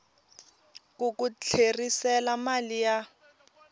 ku ku tlherisela mali ya